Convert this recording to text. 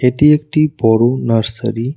এটি একটি বড় নার্সারি ।